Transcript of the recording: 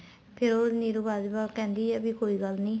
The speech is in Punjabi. ਫ਼ੇਰ ਉਹ ਨੀਰੂ ਬਾਜਵਾ ਕਹਿੰਦੀ ਏ ਵੀ ਕੋਈ ਗੱਲ ਨਹੀਂ